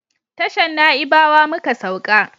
Tashan naibawa muka sauka